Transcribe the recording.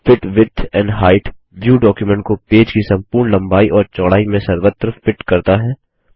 fit width and height view document को page की संपूर्ण लम्बाई और चौड़ाई में सर्वत्र फिट करता है